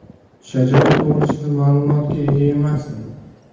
Shajara to‘g‘risida ma’lumotga ega emasdim.